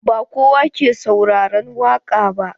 Ba kowa ke sauraron waƙa ba.